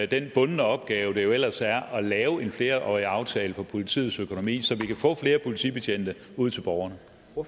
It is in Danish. den bundne opgave det jo ellers er at lave en flerårig aftale for politiets økonomi så vi kan få flere politibetjente ud til borgerne